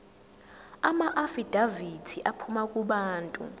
amaafidavithi aphuma kubantu